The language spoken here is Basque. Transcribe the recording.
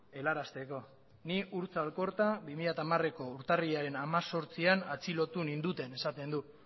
helarazteko ni urtza alkorta bi mila hamareko urtarrilaren hemezortzian atxilotu ninduten esaten du